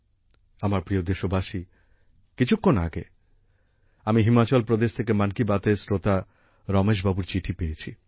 আমার প্রিয় দেশবাসী কিছুক্ষণ আগে আমি হিমাচল প্রদেশ থেকে মন কি বাতএর শ্রোতা রমেশ বাবুর চিঠি পেয়েছি